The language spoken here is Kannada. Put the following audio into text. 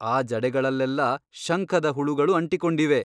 ಆ ಜಡೆಗಳಲ್ಲೆಲ್ಲಾ ಶಂಖದ ಹುಳುಗಳು ಅಂಟಿಕೊಂಡಿವೆ.